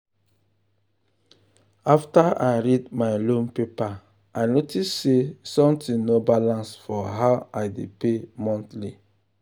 after i read my loan paper i notice say something no balance for how i dey pay monthly.